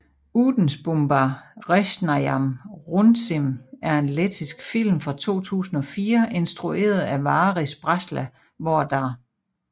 Ūdensbumba resnajam runcim er en lettisk film fra 2004 instrueret af Varis Brasla hvor der